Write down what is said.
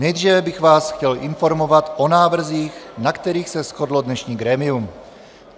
Nejdříve bych vás chtěl informovat o návrzích, na kterých se shodlo dnešní grémium.